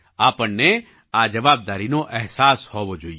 આપણને આ જવાબદારીનો અહેસાસ હોવો જોઈએ